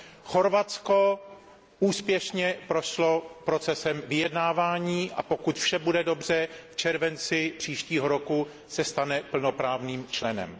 Chorvatsko úspěšně prošlo procesem vyjednávání a pokud vše bude dobře, v červenci příštího roku se stane plnoprávným členem.